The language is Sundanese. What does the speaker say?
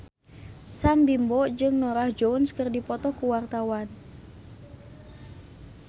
Sam Bimbo jeung Norah Jones keur dipoto ku wartawan